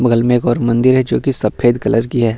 बगल में एक और मंदिर है जो की सफ़ेद कलर की है।